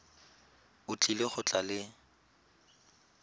o tlile go tla le